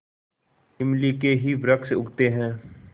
इमली के ही वृक्ष उगते हैं